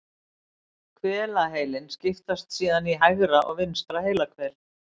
Hvelaheilinn skiptist síðan í hægra og vinstra heilahvel.